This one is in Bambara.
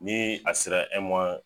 Ni a sera